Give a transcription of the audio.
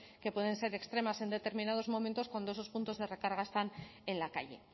que pueden ser extremas en determinados momentos cuando esos puntos de recarga están en la calle